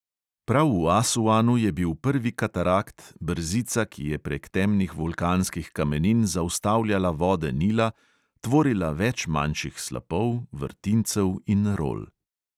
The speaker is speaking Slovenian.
Prav v asuanu je bil prvi katarakt, brzica, ki je prek temnih vulkanskih kamenin zaustavljala vode nila, tvorila več manjših slapov, vrtincev in rol.